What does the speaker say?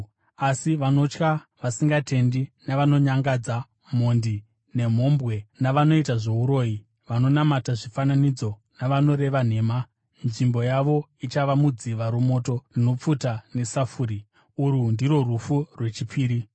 Asi vanotya, vasingatendi, navanonyangadza, mhondi, nemhombwe, navanoita zvouroyi, vanonamata zvifananidzo navanoreva nhema, nzvimbo yavo ichava mudziva romoto rinopfuta nesafuri. Urwu ndirwo rufu rwechipiri.”